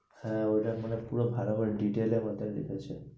হ্যাঁ ওরা মানে পুরো ভালো করে detail এর মধ্যে লিখেছে।